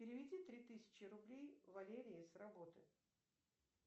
переведи три тысячи рублей валерии с работы